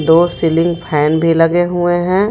दो ceiling fan भी लगे हुए हैं.